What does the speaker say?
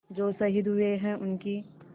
जो शहीद हुए हैं उनकी